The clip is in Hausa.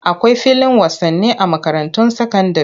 Akwai filin wasani a makarantun sakandire.